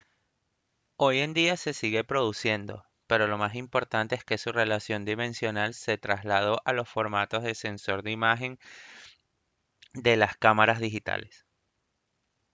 hoy en día se sigue produciendo pero lo más importante es que su relación dimensional se trasladó a los formatos de sensor de imagen de las cámaras digitales